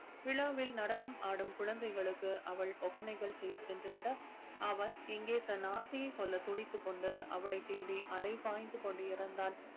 விழாவில் நடனம் ஆடும் குழந்தைகளுக்கு அவள் ஒப்பனைகள் செய்ய சென்றுவிட அவன் இங்கே தன் ஆசையை சொல்ல துடித்துக் கொண்டு அவளை தேடி அலை பாய்ந்து கொண்டே இருந்தான்.